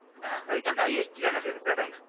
ಹಾ ಅದ್ಕೊಂದು highest ಜನ ಸೇರ್ತಾರೆ.